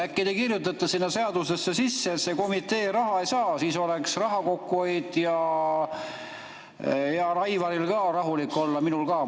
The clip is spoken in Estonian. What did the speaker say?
Äkki te kirjutate sinna seadusesse sisse, et see komitee raha ei saa, siis oleks raha kokkuhoid ja heal Aivaril ka rahulik olla?